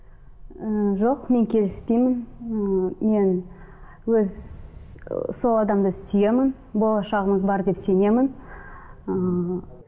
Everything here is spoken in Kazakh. ііі жоқ мен келіспеймін і мен өз ы сол адамды сүйемін болашағымыз бар деп сенемін ыыы